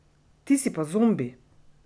Ti si pa zombi!